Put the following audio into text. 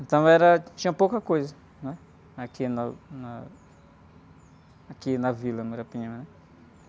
Então era, tinha pouca coisa, né? Aqui na, na, aqui na Vila Muirapinim, né?